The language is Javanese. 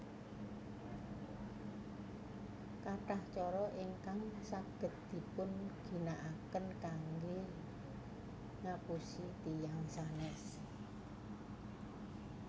Kathah cara ingkang saged dipun ginakaken kanggé ngapusi tiyang sanés